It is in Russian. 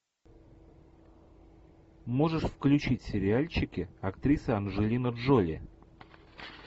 можешь включить сериальчики актриса анджелина джоли